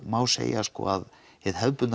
má segja að hið hefðbundna